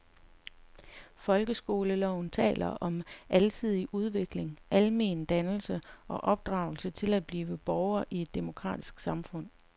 Folkeskoleloven taler om alsidig udvikling, almen dannelse og opdragelse til at blive borger i et demokratisk samfund.